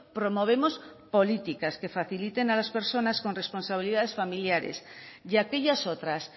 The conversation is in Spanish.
promovemos políticas que faciliten a las personas con responsabilidades familiares y a aquellas otras